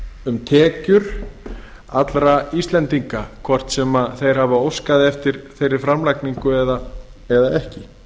um tekjur allra íslendinga hvort sem þeir hafa óskað eftir þeirri framlagningu eða ekki